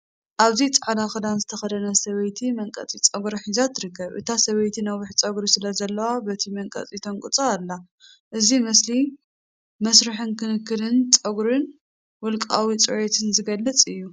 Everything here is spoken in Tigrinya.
ኣብዚ ጻዕዳ ክዳን ዝተኸድነት ሰበይቲ መንቀጽ ጸጉሪ ሒዛ ትርከብ። እታ ሰበይቲ ነዊሕ ጸጉሪ ስለ ዘለዎ በቲ መንቀጽ ተንቅፆ ኣላ። እዚ ምስሊ መስርሕ ክንክን ጸጉርን ውልቃዊ ጽሬትን ዝገልጽ እዩ።